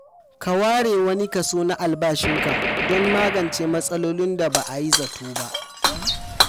Ka ware wani kaso na albashinka don magance matsalolin da ba a yi zato ba.